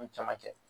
Ni caman cɛ